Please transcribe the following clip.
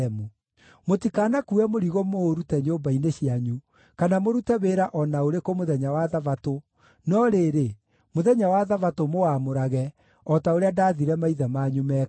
Mũtikanakuue mũrigo mũũrute nyũmba-inĩ cianyu, kana mũrute wĩra o na ũrĩkũ mũthenya wa Thabatũ, no rĩrĩ, mũthenya wa Thabatũ mũwamũrage, o ta ũrĩa ndaathire maithe manyu mekage.